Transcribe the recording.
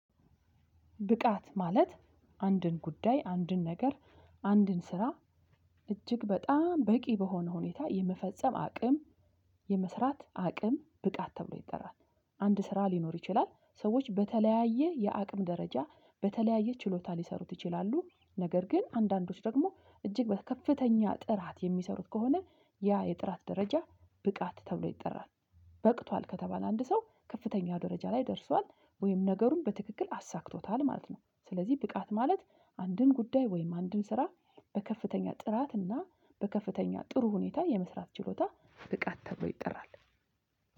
ብቃት ማለት አንድን ጉዳይ አንድን ነገር አንድን ስራ እጅግ በጣም በቂ በሆነ ሁኔታ የመፈጸም አቅም የመስራት አቅም ብቃት ተብሎ ይጠራል። አንድ ስራ ሊኖር ይችላል ሰዎች በተለያየ የአቅም ደረጃ በተለያየ ችሎታ ሊሰሩት ይችላሉ። ነገር ግን አንዳንዶች ደግሞ እጅግ በከፍተኛ ጥራት የሚሰሩት ከሆነ ያ የጥራት ደረጃ ብቃት ተብሎ ይጠራል። በቅቷል ከተባለ አንድ ሰው ከፍተኛ ደረጃ ላይ ደርሷል ወይም ነገሩን በትክክል አሳክቶታል ማለት ነው። ስለዚህ ብቃት ማለት አንድን ጉዳይ ወይም አንድን ስራ በከፍተኛ ጥራት እና በከፍተኛ ጥሩ ሁኔታ የመስራት ችሎታ ብቃት ተብሎ ይጠራል